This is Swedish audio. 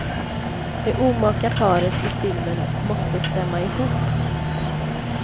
Det omaka paret i filmen måste stämma ihop.